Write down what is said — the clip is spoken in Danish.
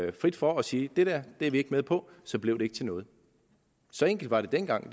en frit for at sige det dér er vi ikke med på og så blev det ikke til noget så enkelt var det dengang